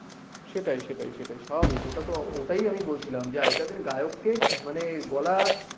সেটাই সেটাই সেটাই স্বাভাবিক ওটাতো ওটাই আমি বলছিলাম যে আগেকার দিনে গায়ককে মানে গলা